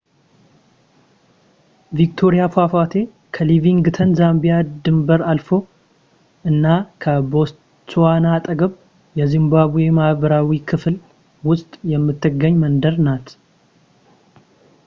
ቪክቶሪያ ፏፏቴ ከሊቪንግስቶን ዛምቢያ ድንበር አልፎ እና ከቦትስዋና አጠገብ የዚምባብዌ ምዕራባዊ ክፍል ውስጥ የምትገኝ መንደር ናት